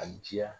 A diya